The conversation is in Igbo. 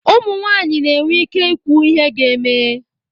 ụmụ nwanyị na-enwe ike ikwu ihe ga-eme